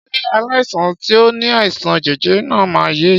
Ṣé aláìsàn tí o ní àìsàn jẹjẹrẹ náà ma yèé